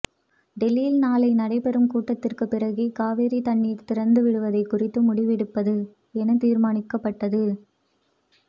டெல்லியில் நாளை நடைபெறும் கூட்டத்திற்கு பிறகே காவிரி தண்ணீர் திறந்து விடுவது குறித்து முடிவெடுப்பது என தீர்மானிக்கபட்டது